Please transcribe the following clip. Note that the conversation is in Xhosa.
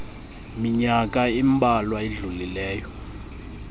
minyaka imbalwa idlulileyo